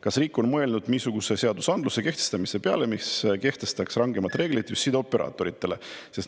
Kas riik on mõelnud niisuguse seadusandluse kehtestamise peale, mis kehtestaks rangemad reeglid just sideoperaatoritele?